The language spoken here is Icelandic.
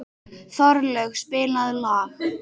Þorlaug, spilaðu lag.